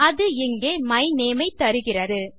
அது இங்கே my name ஐ தருகிறது